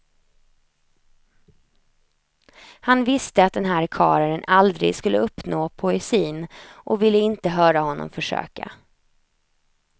Han visste att den här karlen aldrig skulle uppnå poesin, och ville inte höra honom försöka.